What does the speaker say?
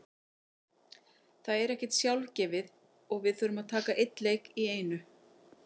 Það er ekkert sjálfgefið og við þurfum að taka einn leik í einu.